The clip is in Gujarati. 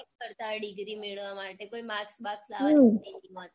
કરતાં હોય degree મેળવવા માટે કોઈ marks બાર્કસ લાવવાં માટે